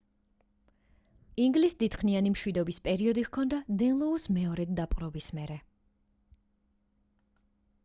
ინგლისს დიდხნიანი მშვიდობის პერიოდი ჰქონდა დენლოუს მეორედ დაპყრობის მერე